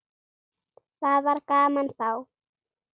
Það var gaman þá.